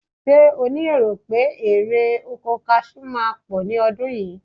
Ṣé ó ní èrò pé erè oko kaṣú máa pọ̀ ní ọdún yìí?